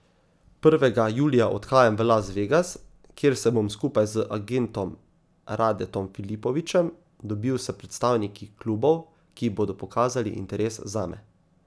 Prvega julija odhajam v Las Vegas, kjer se bom skupaj z agentom Radetom Filipovićem dobil s predstavniki klubov, ki bodo pokazali interes zame.